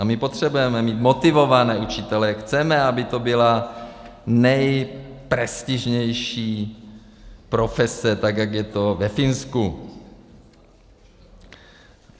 A my potřebujeme mít motivované učitele, chceme, aby to byla nejprestižnější profese, tak jak je to ve Finsku.